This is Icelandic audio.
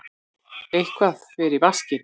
Eitthvað fer í vaskinn